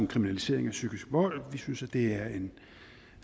kriminalisering af psykisk vold vi synes at det